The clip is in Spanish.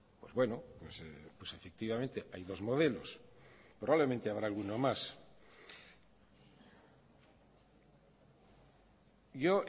pues bueno pues efectivamente hay dos modelos probablemente habrá alguno más yo